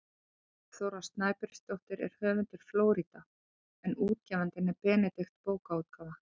Bergþóra Snæbjörnsdóttir er höfundur „Flórída“ en útgefandi er Benedikt bókaútgáfa.